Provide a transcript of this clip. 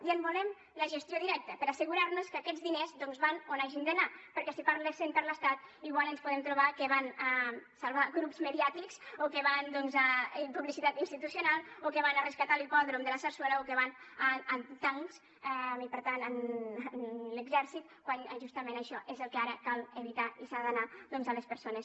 i en volem la gestió directa per a assegurar nos que aquests diners doncs van on hagin d’anar perquè si parlessen per l’estat igual ens podem trobar que van a salvar grups mediàtics o que van doncs a publicitat institucional o que van a rescatar l’hipòdrom de la sarsuela o que van a tancs i per tant a l’exèrcit quan justament això és el que ara cal evitar i s’ha d’anar a les persones